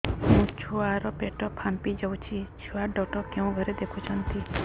ମୋ ଛୁଆ ର ପେଟ ଫାମ୍ପି ଯାଉଛି ଛୁଆ ଡକ୍ଟର କେଉଁ ଘରେ ଦେଖୁ ଛନ୍ତି